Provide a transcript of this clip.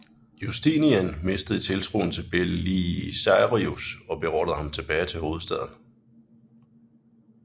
Justinian mistede tiltroen til Belisarius og beordrede ham tilbage til hovedstaden